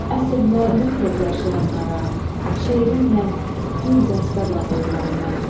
Əsl müəllim tək yaşayanlara, şeirimlə gül dəstə bağlayıram mən.